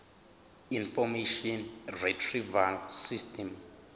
information retrieval system